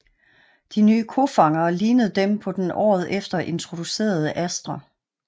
De nye kofangere lignede dem på den året efter introducerede Astra